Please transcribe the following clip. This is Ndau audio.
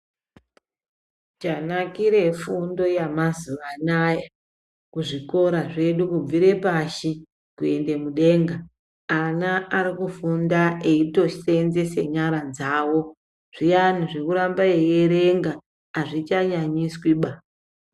Chanakira fundo yemazuva anawa kuzvikora zvedu kubvira pashi kuenda mudengabana Ari kufunda eitosenzesa nyara dzawo zviyani zvekuramba weierenga azvichanuanyiswi ba.